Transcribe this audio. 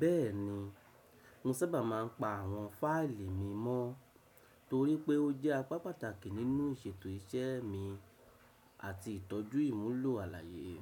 Bẹ́ẹ̀ni, mo sábà máa ń pa àwọn fáìlì mi mọ́ torí pé ó jẹ́ apá pàtàkì nínú ìṣètò iṣẹ́ mi àti ìtọ́jú ìmúlò àlàyé.